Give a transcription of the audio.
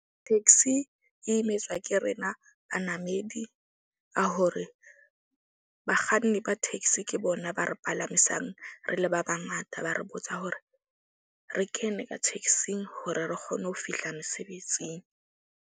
Taxi e imetswa ke rena banamedi a hore bakganni ba taxi. Ke bona ba re palamisang, re le ba bangata. Ba re botsa hore re kene ka taxing hore re kgone ho fihla mesebetsing.